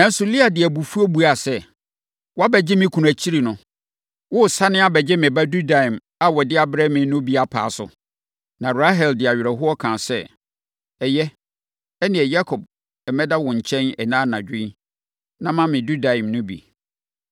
Nanso, Lea de abufuo buaa sɛ, “Woabɛgye me kunu akyiri no, woresane abɛgye me ba dudaim a ɔde abrɛ me no bi apaa so?” Na Rahel de awerɛhoɔ kaa sɛ, “Ɛyɛ, ɛnneɛ, Yakob mmɛda wo nkyɛn ɛnnɛ anadwo yi, na ma me dudaim no bi.”